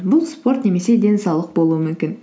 бұл спорт немесе денсаулық болуы мүмкін